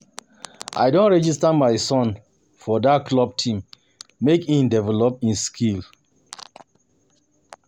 I don register my son for dat football team make e develop im skill.